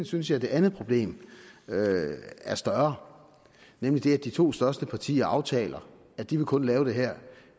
synes jeg at det andet problem er større nemlig det at de to største partier aftaler at de kun vil lave det her